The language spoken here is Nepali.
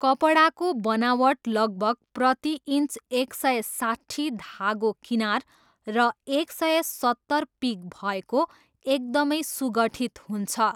कपडाको बनावट लगभग प्रति इन्च एक सय साट्ठी धागो किनार र एक सय सत्तर पिक भएको एकदमै सुगठित हुन्छ।